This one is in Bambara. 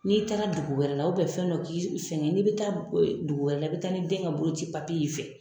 N'i taara dugu wɛrɛ la u bɛn fɛn dɔ k'i fɛn gɛ n'i bi taa ɛ dugu wɛrɛ la i be taa ni den ka bolo ci papi ye y'i fɛ